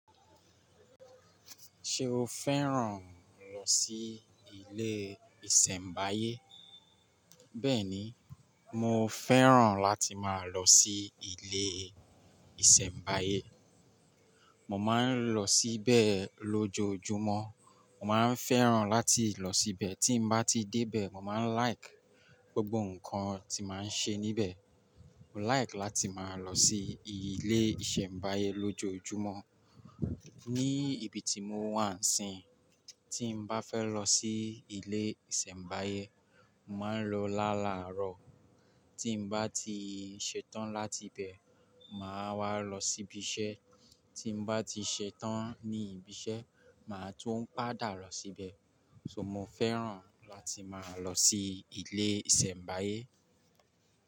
Ṣé o fẹ́ràn lọ sí ilé ìsẹ̀mbáyé? Bẹ́ẹ̀ni, mo fẹ́ràn láti máa lọ sí ilé ìsẹ̀mbáyé. Mo máa ń lọ síbẹ̀ lójoojúmọ́. Mo máa ń fẹ́ràn láti lọ síbẹ̀, tí mo bá ti dé bẹ̀ẹ̀ mo máa ń like gbogbo nǹkan tí màá ń ṣe níbẹ̀. Mo like láti máa lọ sí ilé ìsẹ̀mbáyé lójoojúmọ́. Ní ibi tí mo wà ń sin, tí mo bá fẹ́ lọ sí ilé ìsẹ̀mbáyé, màá lọ lálàárọ̀. Tí m bá ti ṣetán láti ibẹ̀, màá wá lọ sí ibi iṣẹ́. Tí mo bá ti ṣetán ní ibi iṣẹ́, màá tún padà lọ síbẹ̀. So mo fẹ́ràn láti máa lọ sí ilé ìsẹ̀mbáyé.